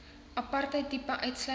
apartheid tipe uitsluiting